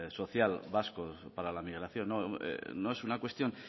social vasco para la migración no es una cuestión